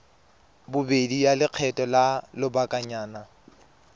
bobedi ya lekgetho la lobakanyana